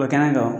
O bɛ kɛnɛ kan